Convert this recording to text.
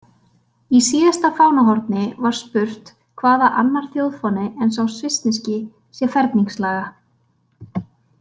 Í síðasta fánahorni var spurt hvaða annar þjóðfáni en sá svissneski sé ferningslaga.